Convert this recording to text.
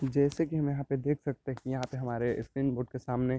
जैसे की हम यहाँ पे देख सकते है की यहाँ पे हमारे स्क्रीन बोट सामने --